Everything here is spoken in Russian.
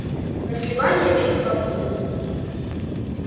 на сливанье все мёд пьют